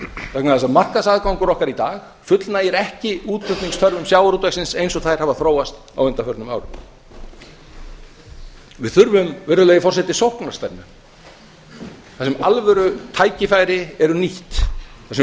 vegna þess að markaðs aðgangur okkar í dag fullnægir ekki útflutningsþörfum sjávarútvegsins eins og þær hafa þróast á undanförnum árum virðulegi forseti við þurfum sóknarstefnu þar sem alvöru tækifæri eru nýtt þar sem við